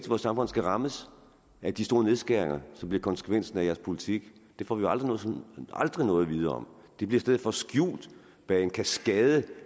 vores samfund skal rammes af de store nedskæringer som bliver konsekvensen af de borgerliges politik det får vi aldrig aldrig noget at vide om det bliver i stedet for skjult bag en kaskade